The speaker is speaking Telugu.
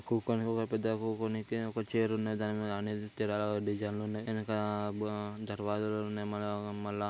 కూకునే ఒక పెద్ద కూకునేకె ఒక చైర్ ఉన్నది. దాని మీద డిజైన్లున్నయి . ఎనక ఆ బ దర్వాజలున్నాయ్. మన మళ్ళ --